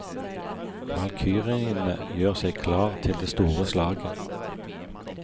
Valkyriene gjør seg klar til det store slaget.